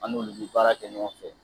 An'olu bɛ baara kɛ ɲɔgɔn fɛ